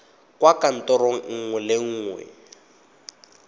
kwa kantorong nngwe le nngwe